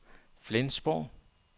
Flensborg